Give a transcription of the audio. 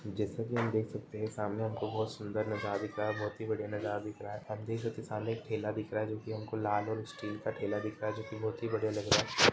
जैसे कि हम देख सकते है सामने हमको बहोत सुंदर दिख रहा है बहोत ही बढ़िया दिख रहा है आप देख सकते है सामने एक ठेला दिख रहा है जोकि हमको लाल और स्टील का ठेला दिख रहा है जोकि बहोत ही बढ़िया लग रहा हैं।